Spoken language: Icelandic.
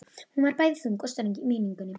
Hún var bæði þung og ströng í minningunni.